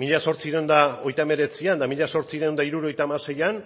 mila zortziehun eta hogeita hemeretzian eta mila zortziehun eta hirurogeita hamaseian